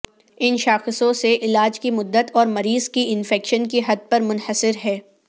ان شاخصوں سے علاج کی مدت اور مریض کی انفیکشن کی حد پر منحصر ہے